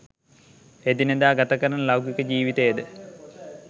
එදිනෙදා ගතකරන ලෞකික ජීවිතයද